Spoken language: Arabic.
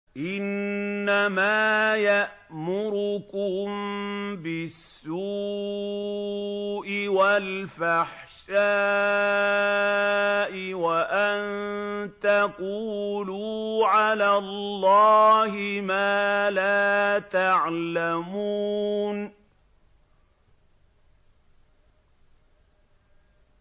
إِنَّمَا يَأْمُرُكُم بِالسُّوءِ وَالْفَحْشَاءِ وَأَن تَقُولُوا عَلَى اللَّهِ مَا لَا تَعْلَمُونَ